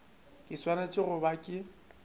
ke swanetše go ba ke